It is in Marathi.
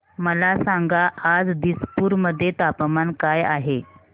मला सांगा आज दिसपूर मध्ये तापमान काय आहे